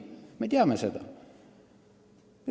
Me teame seda!